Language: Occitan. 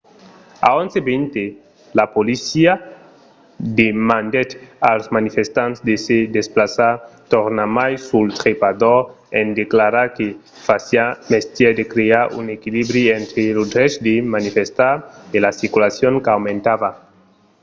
a 11:20 la polícia demandèt als manifestants de se desplaçar tornarmai sul trepador en declarar que fasiá mestièr de crear un equilibri entre lo drech de manifestar e la circulacion qu'aumentava